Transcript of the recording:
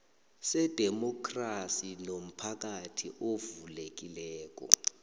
sedemokhrasi nomphakathi ovulekileko